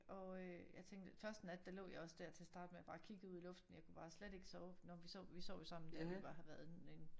Og øh jeg tænkte første nat der lå jeg også der til at starte med og bare kiggede ud i luften jeg kunne bare slet ikke sove når vi sov vi sov jo også sammen da vi var har været en